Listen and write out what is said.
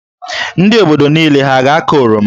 Ndị obodo niile hà a ga-akụ oroma?